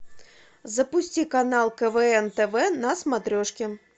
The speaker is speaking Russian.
запусти канал квн тв на смотрешке